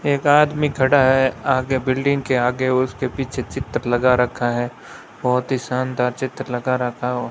एक आदमी खड़ा है आगे बिल्डिंग के आगे उसके पीछे चित्र लगा रखा है बहोत ही शानदार चित्र लगा रहा है --